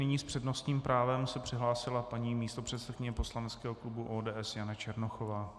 Nyní s přednostním právem se přihlásila paní místopředsedkyně poslaneckého klubu ODS Jana Černochová.